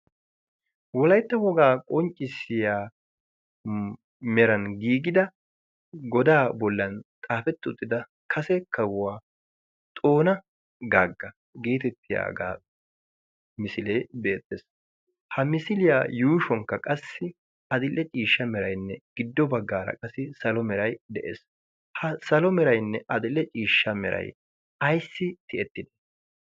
wolaitta wogaa qonccissiya meran giigida godaa bollan xaafetti uttida kase kahuwaa xoona gaagga geetettiyaagaa misilee beettees. ha misiliyaa yuushuwankka qassi axille ciishsha merainne giddo baggaara qassi salo merai de7ees. ha salo merainne axille ciishsha merai aissi ti7ettide?